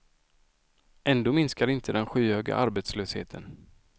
Ändå minskar inte den skyhöga arbetslösheten.